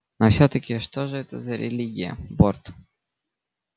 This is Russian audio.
но всё-таки что же это за религия борт